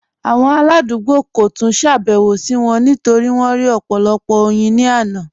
Awọn aladugbo kò túń ṣàbẹwò sí wọn nítorí wọn rí ọpọ̀lọpọ̀ oyin ni àná.